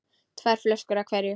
Tvær flöskur af hverju.